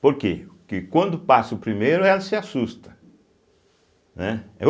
Porque porque quando passa o primeiro, ela se assusta, né.